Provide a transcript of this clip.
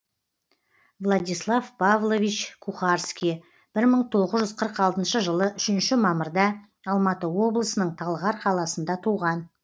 владислав павлович кухарский бір мың тоғыз жүз қырық алтыншы жылы үшінші мамырда алматы облысының талғар қаласында туған